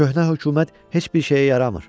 Köhnə hökumət heç bir şeyə yaramır.